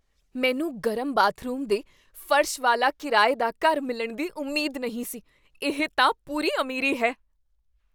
ਮੈਨੂੰ ਗਰਮ ਬਾਥਰੂਮ ਦੇ ਫਰਸ਼ ਵਾਲਾ ਕਿਰਾਏ ਦਾ ਘਰ ਮਿਲਣ ਦੀ ਉਮੀਦ ਨਹੀਂ ਸੀ ਇਹ ਤਾਂ ਪੂਰੀ ਅਮੀਰੀ ਹੈ!